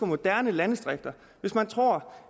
moderne landdistrikt hvis man tror